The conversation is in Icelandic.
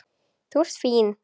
Þú ert fín.